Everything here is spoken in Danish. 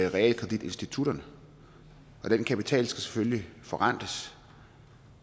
i realkreditinstitutterne og den kapital skal selvfølgelig forrentes